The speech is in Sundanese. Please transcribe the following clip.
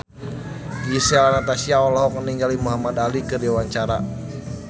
Gisel Anastasia olohok ningali Muhamad Ali keur diwawancara